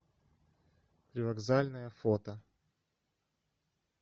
привокзальная фото